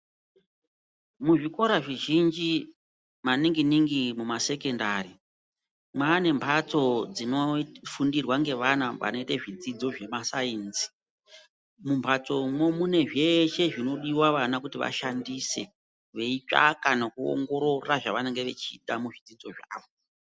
Muzvikora zvizhinji maningi ningi muma sekendari ,maane mbatso dzinofundirwe ngeana vanoite zvidzidzo zvema sayinsi. Mumbatso umo ,munezveshe zvinodiwa vana kuti vashandise beyi tsvaka nokuwongorora zvavanenge vechida muzvidzidzo zvavo.